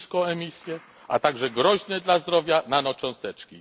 niską emisję, a także groźne dla zdrowia nanocząsteczki.